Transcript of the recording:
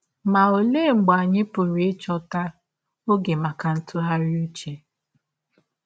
Ma ọlee mgbe anyị pụrụ ịchọta ọge maka ntụgharị ụche?